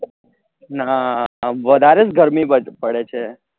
નાં વધારે જ ગરમી બધે પડે છે